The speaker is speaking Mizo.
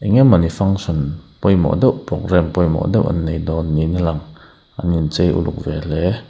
enge mawni function pawimawh deuh programme pawimawh deuh annei dawn niin alang anin cheu uluk ve hle--